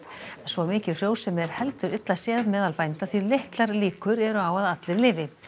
svo mikil frjósemi er heldur illa séð meðal bænda því litlar líkur eru á að allir lifi